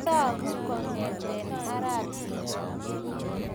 Tagu kong'etat arap Tum.